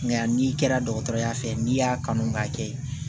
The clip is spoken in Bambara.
Nka n'i kɛra dɔgɔtɔrɔya fɛ ye n'i y'a kanu k'a kɛ